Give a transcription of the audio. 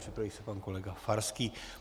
Připraví se pan kolega Farský.